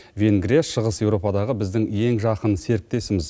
венгрия шығыс еуропадағы біздің ең жақын серіктесіміз